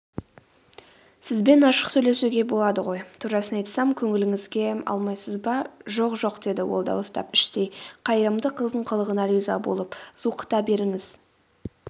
сізбен ашық сөйлесуге болады ғой турасын айтсам көңіліңізге алмайсыз ба жоқ жоқ деді ол дауыстап іштей қайырымды қыздың қылығына риза болып.зуқыта беріңіз